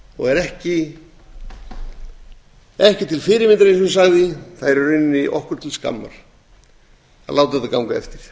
og er ekki til fyrirmyndar eins og ég sagði það er í rauninni okkur til skammar að láta þetta ganga eftir